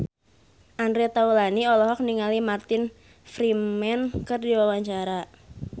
Andre Taulany olohok ningali Martin Freeman keur diwawancara